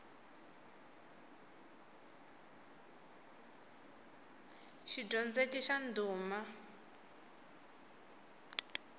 xidyondzeki xa ndhuma